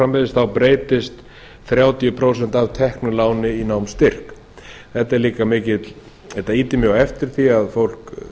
framvegis þá breytast þrjátíu prósent af teknu láni í námsstyrk þetta ýtir mjög á eftir því að fólk